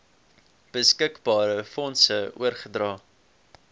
beskikbare fondse oorgedra